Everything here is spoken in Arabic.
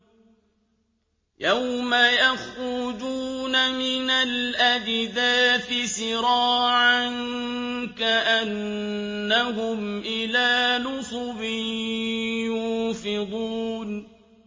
يَوْمَ يَخْرُجُونَ مِنَ الْأَجْدَاثِ سِرَاعًا كَأَنَّهُمْ إِلَىٰ نُصُبٍ يُوفِضُونَ